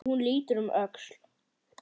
Hún lítur um öxl.